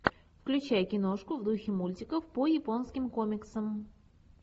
включай киношку в духе мультиков по японским комиксам